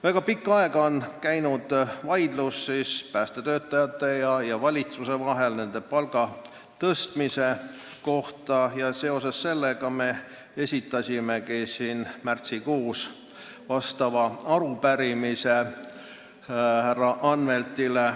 Väga pikka aega on päästetöötajate ja valitsuse vahel käinud vaidlus nende palga tõstmise üle ja seoses sellega me esitasimegi märtsikuus sellesisulise arupärimise härra Anveltile.